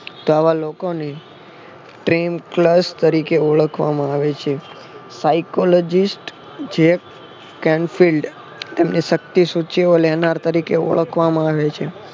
તો આવા લોકોની ટ્રિમ પલ્સ તરીકે ઓળખવામાં આવે છે. સાયકોલોજીકસ જેક કેમ ફિલ્ડ તેમની શક્તિ સૂચિઓ લેનાર તરીકે ઓળખવામાં આવે છે.